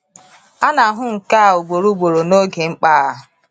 A na-ahụ nke a ugboro ugboro n’oge mkpa.